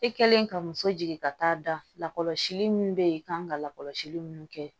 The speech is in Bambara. E kɛlen ka muso jigin ka taa da lakɔlɔsili min bɛ yen i kan ka lakɔlɔsili minnu kɛ